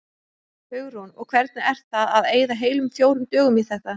Hugrún: Og hvernig er það að eyða heilum fjórum dögum í þetta?